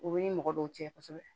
O ni mɔgɔ dɔw cɛ kɔsɛbɛ